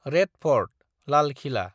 red fort (लाल खिला)